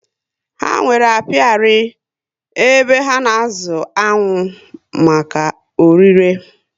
Ha nwèrè apiari, ebe ha na azụ aṅụ maka órí le